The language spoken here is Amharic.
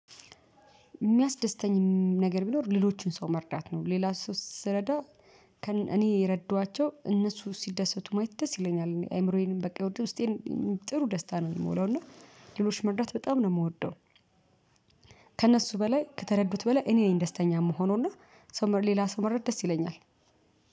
ሚያስደስተኝም ነገር ቢኖር ሌሎችን ሰው መርዳት ነው ሌላ ሰው ሥረዳ ከ እኔ የረደዋቸው እነሱ ሲደሰቱ ማየት ደስ ይለኛል አይምሮዬንም በቃ ውስጤን ጥሩ ደስታ ነው ሚሞላው እና ሌሎች መርዳት በጣም ነው ምወደው። ከእነሱ በላይ ከተረዱት በላይ እኔ ነኝ ደስተኛ ምሆነው እና ሰው መርዳት ሌላ ሰው መርዳት ደስ ይለኛል